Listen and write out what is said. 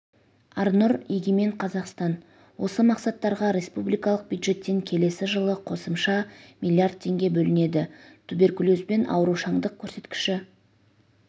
арнұр егемен қазақстан осы мақсаттарға республикалық бюджеттен келесі жылы қосымша млрд теңге бөлінеді туберкулезбен аурушаңдық көрсеткіші